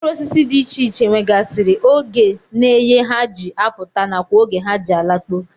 Mkpụrụosisi dị iche iche nwegasịrị oge na eye ha ji apụta nakwa oge ha ji alakpu